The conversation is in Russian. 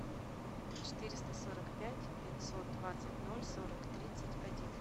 четыреста сорок пять пятьсот двадцать ноль сорок тридцать один